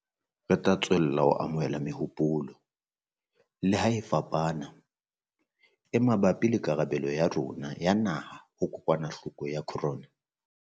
Re tla tswella ho amohela mehopolo - leha e fapana - e mabapi le karabelo ya rona ya naha ho kokwanahloko ya corona.